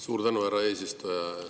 Suur tänu, härra eesistuja!